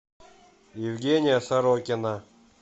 евгения сорокина